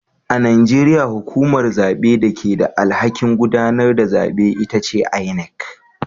A Najeriya hukumar zabe da ke da alhakin gudanar da zabe ita ce inec